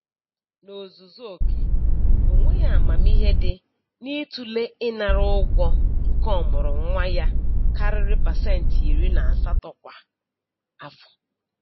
N'ozuzu oke onweghi amamihe dị n'ịtụle ịnara ụgwọ nke ọmụrụnwa ya karịrị pasentị iri na asatọ kwa afọ.